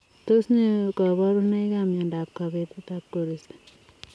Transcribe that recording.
Tos nee kabarunoik ak miondop kapetet ap koristoo?